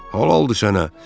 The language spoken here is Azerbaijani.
Halaldır sənə!